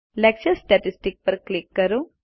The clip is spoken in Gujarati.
લેક્ચર સ્ટેટિસ્ટિક્સ પર ક્લિક કરો